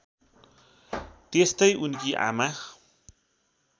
त्यस्तै उनकी आमा